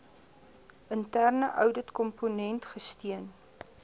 interne ouditkomponent gesteun